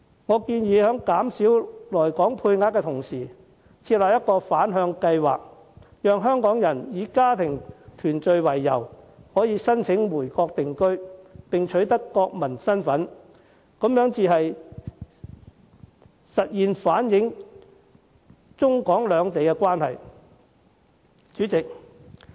我建議減少來港配額，並同時設立一個反向計劃，讓香港人以家庭團聚為由申請回國定居，並取得國民身份，這才能現實地反映中港兩地關係。